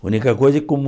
A única coisa é como...